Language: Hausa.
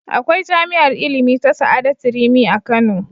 Akwai jami'ar ilimi ta Sa'adatu Rimi a Kano.